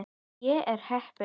Ég er heppin.